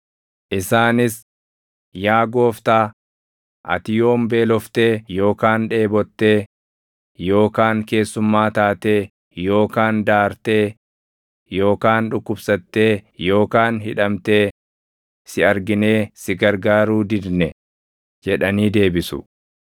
“Isaanis, ‘Yaa Gooftaa, ati yoom beeloftee yookaan dheebottee yookaan keessummaa taatee yookaan daartee yookaan dhukkubsattee yookaan hidhamtee si arginee si gargaaruu didne?’ jedhanii deebisu.